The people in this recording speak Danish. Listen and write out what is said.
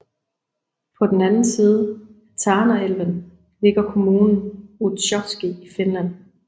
På den anden side af Tanaelven ligger kommunen Utsjoki i Finland